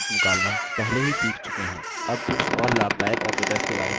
अब कुछ और लाभदायक operators के बारे में सीखते हैं